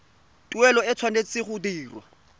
tuelo e tshwanetse go dirwa